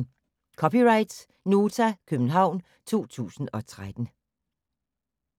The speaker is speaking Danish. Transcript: (c) Nota, København 2013